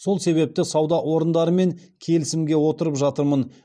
сол себепті сауда орындарымен келісімге отырып жатырмын